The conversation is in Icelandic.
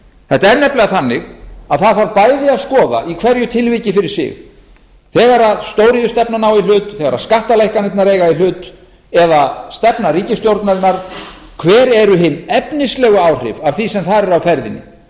þetta er nefnilega þannig að það þarf bæði að skoða í hverju tilviki fyrir sig þegar stóriðjustefnan á í hlut þegar skattalækkanirnar eiga í hlut eða stefna ríkisstjórnarinnar hver eru hin efnislegu áhrif af því sem þar er á ferðinni